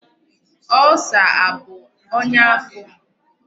Ulcer abụ onya afọ?